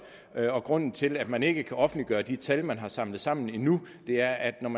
det sig grunden til at man ikke kan offentliggøre de tal man har samlet sammen endnu er at man